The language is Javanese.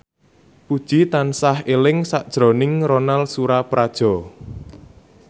Puji tansah eling sakjroning Ronal Surapradja